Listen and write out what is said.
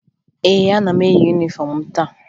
Ee, ana m eyi yunifọmụ m taa